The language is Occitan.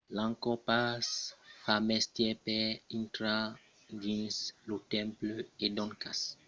l'angkor pass fa mestièr per intrar dins lo temple e doncas vos cal pas oblidar de portar vòstre passapòrt quand vos dirigissètz a tonle sap